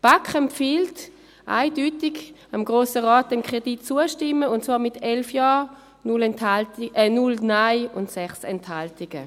Die BaK empfiehlt dem Grossen Rat eindeutig, dem Kredit zuzustimmen, und zwar mit 11 Ja-, 0 Nein-Stimmen und 6 Enthaltungen.